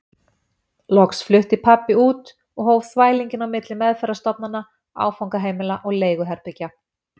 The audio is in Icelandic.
Loks flutti pabbi samt út og hóf þvælinginn á milli meðferðarstofnana, áfangaheimila og leiguherbergja.